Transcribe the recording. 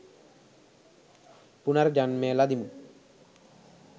පුනර්ජන්මය ලදිමු.